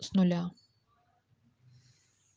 с нуля